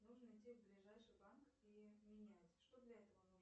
нужно идти в ближайший банк и менять что для этого нужно